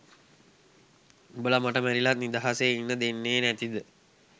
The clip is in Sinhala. උඹල මට මැරිලත් නිදහසේ ඉන්න දෙන්නේ නැතිද?